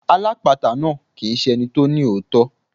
Alápatà náà kì ń ṣe ẹni tó ní òótọ́.